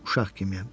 Uşaq kimiyəm.